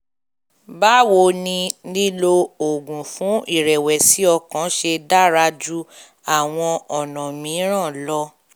báwo ni lílo oògùn fún ìrẹ̀wẹ̀sì ọkàn ṣe dára ju àwọn ọ̀nà mìíràn lọ?